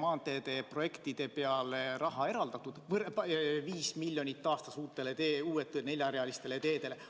maanteede projektide jaoks raha eraldatud, vaid 5 miljonit aastas uutele neljarealistele teedele?